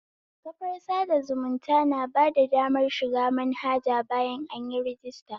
Kafar sada zumunta bada damar shiga manhaja bayan anyi rajister